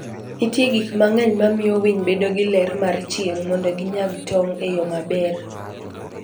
Nitie gik mang'eny mamiyo winy bedo gi ler mar chieng' mondo ginyag tong' e yo maber.